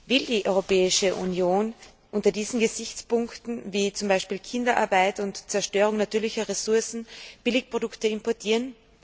Will die Europäische Union unter diesen Gesichtspunkten wie zum Beispiel Kinderarbeit und Zerstörung natürlicher Ressourcen Billigprodukte importieren?